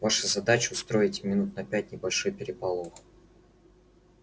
ваша задача устроить минут на пять небольшой переполох